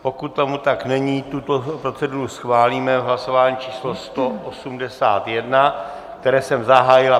Pokud tomu tak není, tuto proceduru schválíme v hlasování číslo 181, které jsem zahájil.